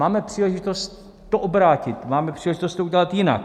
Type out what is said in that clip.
Máme příležitost to obrátit, máme příležitost to udělat jinak.